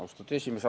Austatud esimees!